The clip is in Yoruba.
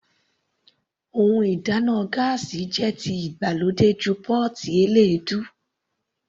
Ohun ìdáná gáásì jẹ́ ti ìgbàlódé ju pọ́ọ́tì eléèdú.